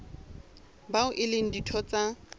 bao e leng ditho tsa